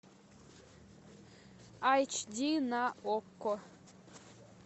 айч ди на окко